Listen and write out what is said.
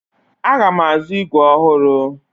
Aga m azụ ígwè ọhụrụ.